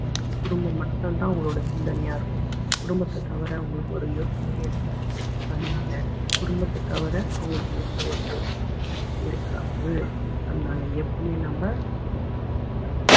குடும்பம் மட்டும்தான் அவங்களோட சிந்தனையா இருக்கும் குடும்பத்தைத் தவிர அவங்களுக்கு ஒரு யோசனையே இருக்காது அதனால குடும்பத்த தவிர அவங்களுக்கு எந்த ஒரு யோசனையும் இருக்காது அதனால எப்பவுமே நம்ம அவங்களுக்கு நாம